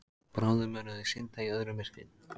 Bráðum munu þau synda í öðru myrkri.